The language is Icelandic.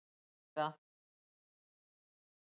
Ég styð það.